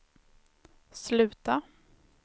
sluta